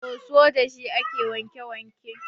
Soso dashi ake wanke wanke.